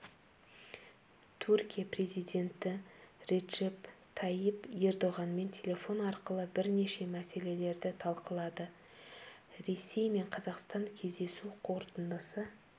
түркия президенті реджеп тайип ердоғанмен телефон арқылы бірнеше мәселелерді талқылады ресей мен қазақстан кездесу қорытындысы